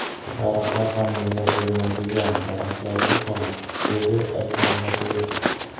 Daraxtlar ham meva bermaydigan daraxtlar ekan”, dedi Akmal Botirov.